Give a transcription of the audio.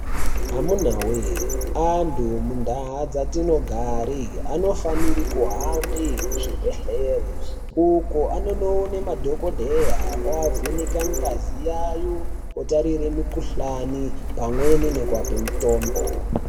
Amunawe antu mundaa dzatino gare ano fanire kuhambe ku zvibhedhleri uko anono one madhokodheya oa vheneka ngazi yayo otatire mi kuhlani pamweni neku ape mutombo.